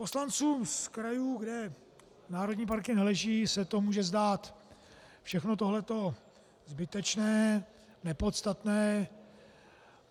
Poslancům z krajů, kde národní parky neleží, se může zdát všechno tohle to zbytečné, nepodstatné.